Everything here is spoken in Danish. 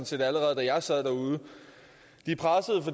set allerede da jeg sad derude